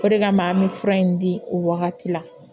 O de kama an bɛ fura in di o wagati la